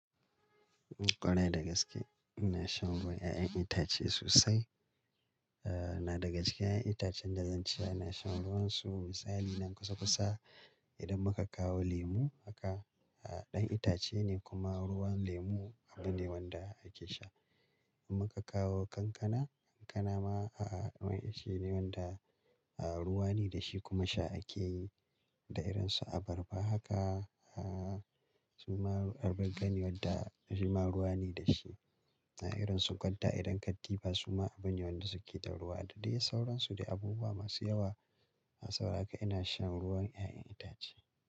Kwarai da gaske ina shan ruwan 'ya'yan itace sosai. Eh na daga cikin 'ya'yan itacen da zan ce yana shan ruwansu misali na kusa kusa idan muka kawo lemu haka a'a ɗan itace ne kuma ruwan lemu abu ne wanda ake sha. Idan muka kawo kankana, kankana ma a'a wani ita ce wanda a'a ruwa ne da shi kuma sha ake yi. Da irinsu abarba haka a'a suma abarba gani wadda jima ruwa ne da shi. Na irin sunƙarɗa idan katifa suma abune wanda suke da ruwa. Da dai sauransu da abubuwa masu yawa. A saura haka ina shan ruwan 'ya'yan itace.